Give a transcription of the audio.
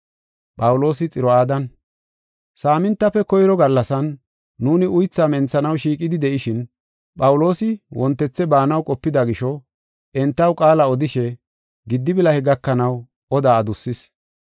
Saamintafe koyro gallasan nuuni uythaa menthanaw shiiqidi de7ishin, Phawuloosi wontethe baanaw qopida gisho, entaw qaala odishe giddi bilahe gakanaw odaa adussis.